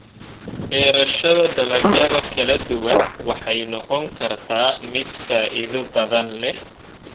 Beerashada dalagyada kala duwan waxay noqon kartaa mid faa'iido badan leh.